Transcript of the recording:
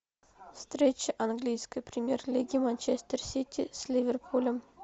встреча английской премьер лиги манчестер сити с ливерпулем